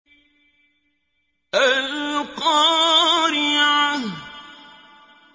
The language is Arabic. الْقَارِعَةُ